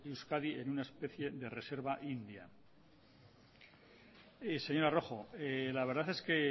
euskadi en una especie de reserva india señora rojo la verdad es que